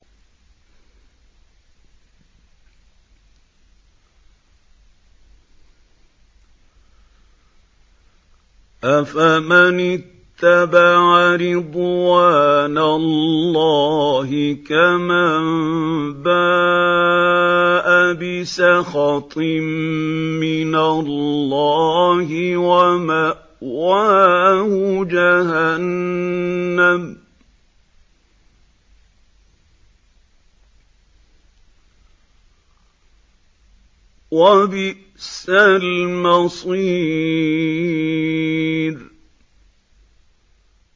أَفَمَنِ اتَّبَعَ رِضْوَانَ اللَّهِ كَمَن بَاءَ بِسَخَطٍ مِّنَ اللَّهِ وَمَأْوَاهُ جَهَنَّمُ ۚ وَبِئْسَ الْمَصِيرُ